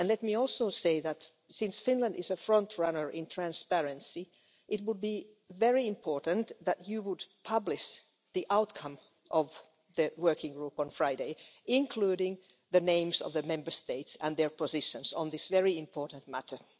Let me also say that, since Finland is a front-runner in transparency, it would be very important if you would publish the outcome of the working group on Friday, including the names of the Member States and their positions on this very important matter.